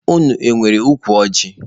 Unu enwere ukwu ọjị?